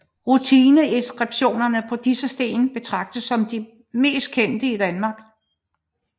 Runeinskriptionerne på disse sten betragtes som de mest kendte i Danmark